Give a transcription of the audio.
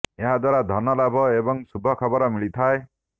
ଏହା ଦ୍ବାରା ଧନ ଲାଭ ଏବଂ ଶୁଭ ଖବର ମିଳିଥାଏ